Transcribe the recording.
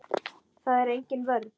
Það er engin vörn.